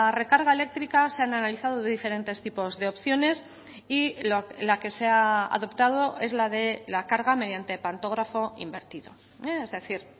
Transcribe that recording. recarga eléctrica se han analizado de diferentes tipos de opciones y la que se ha adoptado es la de la carga mediante pantógrafo invertido es decir